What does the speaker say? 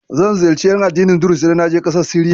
Zan ziyarci ƴan addinin Duruz idan na je ƙasar Siriya.